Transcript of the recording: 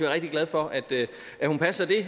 rigtig glade for at hun passer det